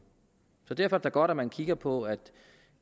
derfor da godt at man kigger på at